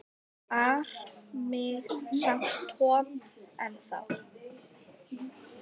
ar mig samt Tom ennþá.